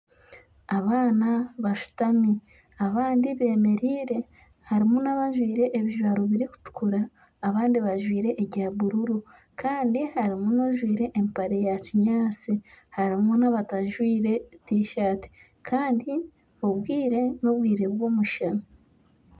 Abaana bashutami abandi bemereire, harimu nabajwire ebijwaro birikutukura abandi bajwire ebya bururu Kandi harimu ojwire empare ya kyinyaasi. Harimu nabajwire tishati Kandi obwire n'obwire bw'omushana.